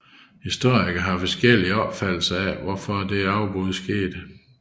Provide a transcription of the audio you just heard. Historikere har forskellige opfattelser af hvorfor dette afbrud skete